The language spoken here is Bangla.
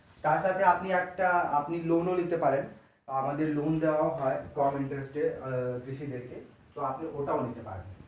তার থেকে আপনি একটা আপনি loan ও নিতে পারেন আমাদের loan ও দেওয়া হয় কম interest এ আহ কৃষি দেরকে তো আপনি ওটাও নিতে পারেন।